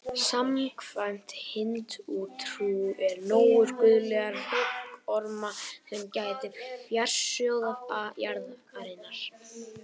Samkvæmt hindúatrú eru nögur guðlegir höggormar sem gæta fjársjóða jarðarinnar.